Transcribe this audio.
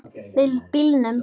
Með bílnum.